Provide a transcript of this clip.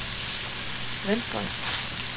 venstres